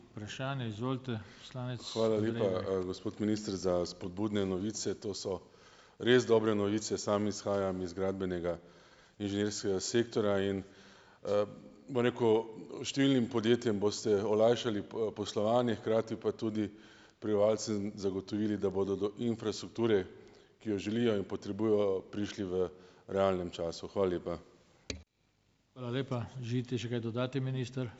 gospod minister, za spodbudne novice. To so res dobre novice. Sam izhajam iz gradbenega inženirskega sektorja in, bom rekel, številnim podjetjem boste olajšali poslovanje, hkrati pa tudi prebivalcem zagotovili, da bodo do infrastrukture, ki jo želijo in potrebujejo, prišli v realnem času. Hvala lepa.